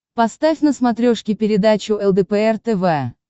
поставь на смотрешке передачу лдпр тв